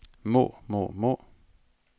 må må må